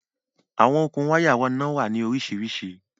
Awọn okun wàya iná wà ní oríṣiríṣí